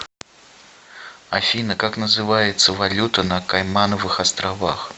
афина как называется валюта на каймановых островах